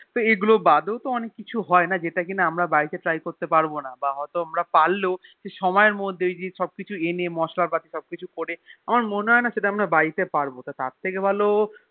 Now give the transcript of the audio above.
তো এগুলো বাদেও তো অনেক কিছু হয়না যেটা কিনা আমরা বাড়িতে Try করতেপারি বা হয়ে আমরা পারলেও কিছু সময় র মধ্যে সেই সব কিছু এনে মসলা সব কিছু করে আমার মনেহয়েনা সেটা আমার বাড়িতে পারবো তো তার থেকে ভালো